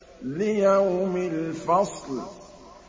لِيَوْمِ الْفَصْلِ